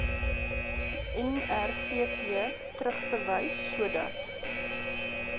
nrvp terugverwys sodat